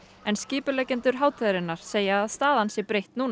en skipuleggjendur hátíðarinnar segja að staðan sé breytt núna